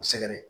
U sɛgɛrɛ